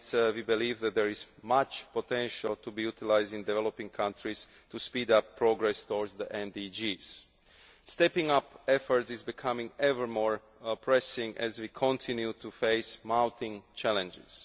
We believe that there is much potential to be utilised in developing countries to speed up progress towards the MDGs. Stepping up effort is becoming ever more pressing as we continue to face mounting challenges.